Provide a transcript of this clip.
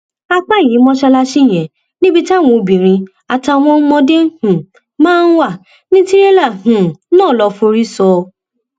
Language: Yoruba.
apá ẹyìn mọṣáláṣí yẹn níbi táwọn obìnrin àtàwọn ọmọdé um máa ń wà ní tìrélà um náà lóò forí sọ